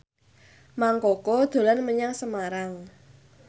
Mang Koko dolan menyang Semarang